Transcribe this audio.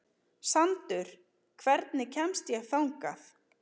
Sandur, hvernig kemst ég þangað?